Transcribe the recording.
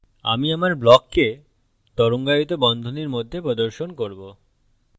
আমি আমার ব্লককে তরঙ্গায়িত বন্ধনীর মধ্যে প্রদর্শন করব